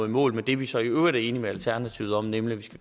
i mål med det vi så i øvrigt er enige med alternativet om nemlig